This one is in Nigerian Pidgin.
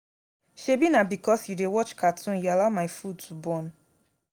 shebi na because you dey watch cartoon you allow my food to burn